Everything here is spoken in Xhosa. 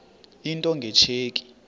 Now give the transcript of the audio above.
into nge tsheki